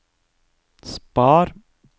spar